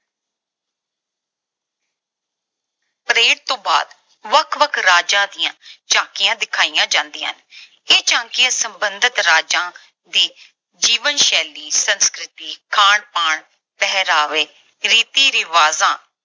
parade ਤੋਂ ਬਾਅਦ ਵੱਖ-ਵੱਖ ਰਾਜਾਂ ਦੀਆਂ ਝਾਕੀਆਂ ਦਿਖਾਈਆਂ ਜਾਂਦੀਆਂ ਹਨ। ਇਹ ਝਾਕੀਆਂ ਸਬੰਧਤ ਰਾਜਾਂ ਦੀ ਜੀਵਨ ਸ਼ੈਲੀ, ਸੰਸਕ੍ਰਿਤੀ, ਖਾਣ-ਪਾਣ, ਪਹਿਰਾਵੇ, ਰੀਤੀ ਰਿਵਾਜਾਂ,